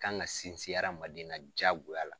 kan ka sinsin hadamaden na jaagoya